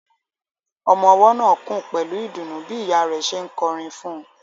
Ọmọ ọwọ́ náà kùn pẹ̀lú ìdùnnú bí ìyá rẹ̀ ṣe ń kọrin fún un.